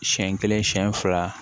Siɲɛ kelen siɲɛ fila